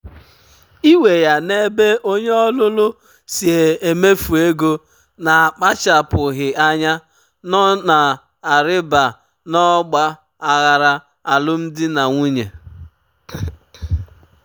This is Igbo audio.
iwe ya n’ebe onye ọlụlụ si emefu ego na-akpachapụghị anya nọ na-arịba n’ọgba aghara alụmdi na nwunye.